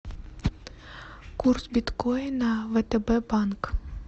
курс биткоина втб банк